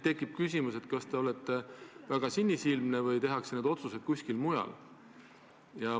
Tekib küsimus, kas te olete väga sinisilmne või tehakse need otsused kuskil mujal.